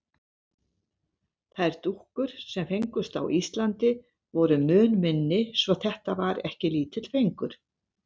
Þær dúkkur, sem fengust á Íslandi, voru mun minni svo þetta var ekki lítill fengur.